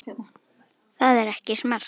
Það er ekki smart.